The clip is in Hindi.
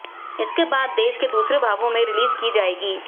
इसके बाद देश के दूसरे भागों में रिलीज की जाएगी